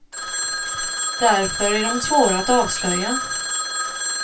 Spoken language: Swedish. Därför är de svåra att avslöja.